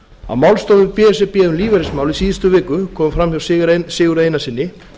á málstofu b s r b um lífeyrismál í síðustu viku kom fram hjá sigurði einarssyni